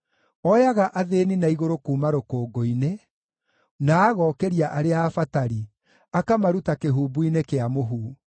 Oyaga athĩĩni na igũrũ kuuma rũkũngũ-inĩ, na agokĩria arĩa abatari, akamaruta kĩhumbu-inĩ kĩa mũhu;